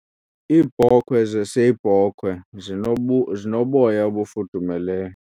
Iibhokhwe zeseyibhokhwe zinoboya ofudumeleyo.